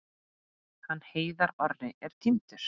Hann Heiðar Orri er týndur.